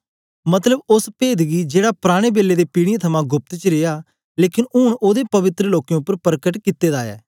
मतलब ओस पेद गी जेड़ा पराने बेले ते पीढ़ियें थमां गोप्त च रिया लेकन ऊन ओदे पवित्र लोकें उपर परकट कित्ते दा ऐ